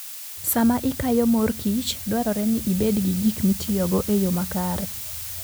Sama ikayo mor kich, dwarore ni ibed gi gik mitiyogo e yo makare.